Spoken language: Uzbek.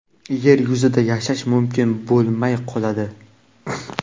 yer yuzida yashash mumkin bo‘lmay qoladi.